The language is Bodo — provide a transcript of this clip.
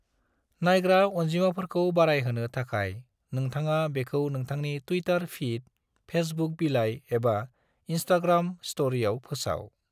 नायग्रा अनजिमाफोरखौ बारायहोनो थाखाय नोंथाङा बेखौ नोंथांनि ट्विटार फीड, फेसबुक बिलाय एबा इंस्टाग्राम स्टरियाव फोसाव।